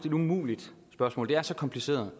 et umuligt spørgsmål det er så kompliceret